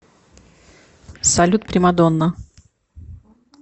салют примадонна